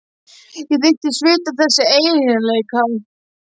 Ég þykist vita að þessi eiginleiki